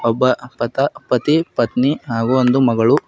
ಒಬ್ಬ ಪತ ಪತಿ ಪತ್ನಿ ಹಾಗು ಒಂದು ಮಗಳು--